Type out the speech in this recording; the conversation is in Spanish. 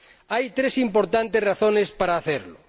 Hay importantes razones para hacerlo.